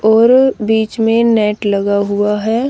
और बीच में नेट लगा हुआ हैं।